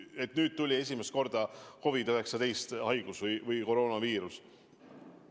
Et nüüd tuli esimest korda COVID-19 haigus, koroonaviirus?